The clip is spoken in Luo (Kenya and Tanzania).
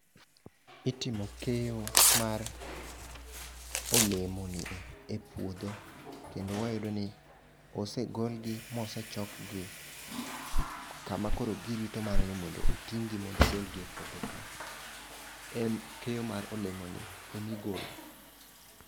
Itimo keyo mar olemo ni e e puodho kendo wayudo ni osegol gi mosechok gi kama koro girito mana ni mondo oting' gi mondo ogol gi e puodho ka. En keyo mar olemo ni emigolo.